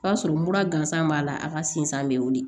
O y'a sɔrɔ mura gansan b'a la a ka sinzan bɛ wuli